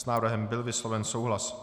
S návrhem byl vysloven souhlas.